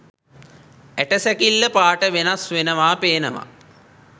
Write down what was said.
ඇටසැකිල්ල පාට වෙනස් වෙනව පේනවා